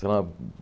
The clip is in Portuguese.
Sei lá.